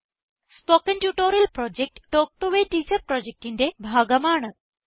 spoken tutorial project talk to a teacher പ്രൊജക്റ്റിന്റെ ഭാഗമാണ്